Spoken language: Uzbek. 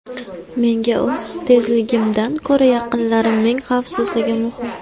Menga o‘z tezligimdan ko‘ra yaqinlarimning xavfsizligi muhim.